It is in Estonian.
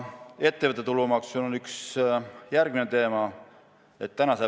Üks teema on ettevõtte tulumaks.